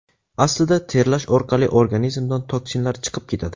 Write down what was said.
Aslida, terlash orqali organizmdan toksinlar chiqib ketadi.